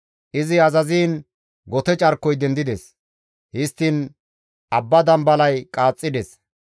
Izi azaziin gote carkoy dendides; histtiin abba dambalay qaaxxides.